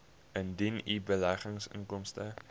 indien u beleggingsinkomste